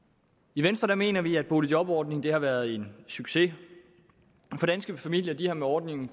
i venstre mener vi at boligjobordningen har været en succes for danske familier har med ordningen